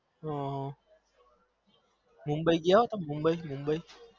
હ મોબઈ ગયા મોબાઈ મોબઈ